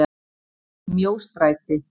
Mjóstræti